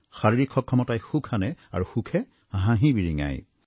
শাৰীৰিক সক্ষমতাই সুখ আনে আৰু সুখে হাঁহি বিৰিঙায়